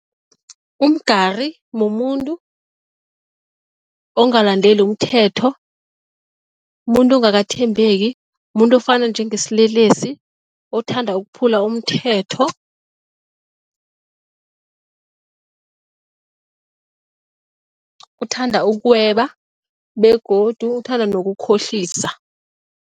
Umgari mumuntu ongalandeli umthetho, mumuntu ongakathathembeki, mumuntu ofana njengesilelesi, othanda ukuphula umthetho, othanda ukweba begodu othanda nokukhohlisa.